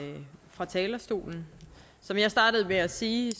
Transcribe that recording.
fra talerstolen som jeg startede med at sige